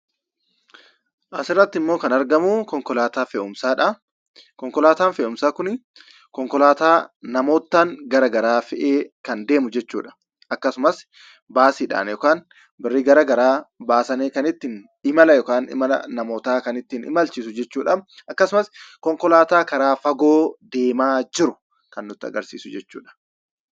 Asirratti immoo kan argamu konkolaataa fe'umsaadha. Konkolaataan fe'umsaa kun konkolaataa namoota garaagaraa fe'ee kan deemu jechuudha. Akkasumas baasiidhaan imala namootaa kan imalchiisu jechuudha. Akkasumas konkolaataa karaa fagoo deemu kan nutti agarsiisudha jechuudha.